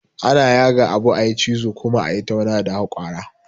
Ana yaga abu, a yi cizo, kuma a yi tauna da hakwara